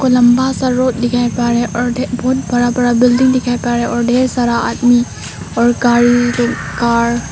लांबा सा रोड दिखाई पड़ रहा है और बहुत बड़ा बड़ा बिल्डिंग दिखाई पड़ रहा है और ढेर सारा आदमी और गाड़ी कार --